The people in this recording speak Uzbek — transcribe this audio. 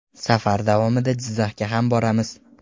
Safar davomida Jizzaxga ham boramiz.